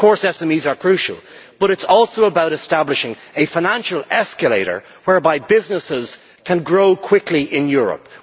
Of course SMEs are crucial, but it is also about establishing a financial escalator whereby businesses can grow quickly in Europe.